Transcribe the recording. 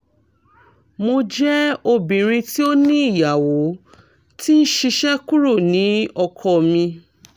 mo jẹ obinrin ti o ni iyawo ti n ṣiṣẹ kuro ni ọkọ mi